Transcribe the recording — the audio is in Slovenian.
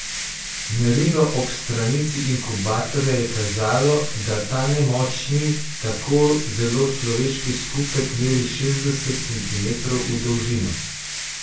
Merilo ob stranici inkubatorja je kazalo, da ta nemočni, tako zelo človeški skupek meri šestdeset centimetrov v dolžino.